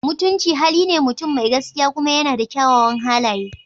Mutunci hali ne mutum mai gaskiya kuma yana da kyawawan halaye.